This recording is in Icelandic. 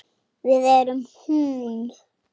Við erum hún.